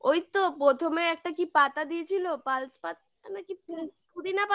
ওইতো প্রথমে একটা কি পাতা দিয়েছিল parsley পাতা আমরা কি পুদিনা পাতা পুদিনা পাতা